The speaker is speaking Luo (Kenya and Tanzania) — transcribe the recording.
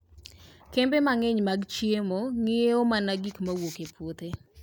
Kembe mang'eny mag chiemo ng'iewo mana gik mowuok e puothe.